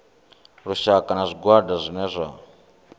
lushaka na zwigwada zwine zwa